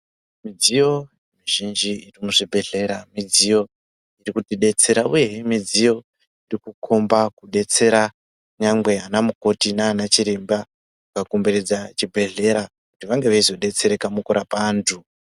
Midziyo mizhinji muzvibhedhlera midziyo iri kutidetsera uyehe midziyo iri kukomba kubetsera nyangwe anamukoti nanachiremba akakomberedza chibhedhlera kuti vange veyizodetsereka mukurapa antu.